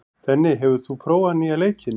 Denni, hefur þú prófað nýja leikinn?